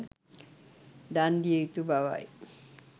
දන් දිය යුතු බවයි.